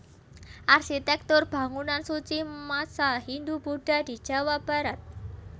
Arsitektur Bangunan Suci Masa Hindu Budha di Jawa Barat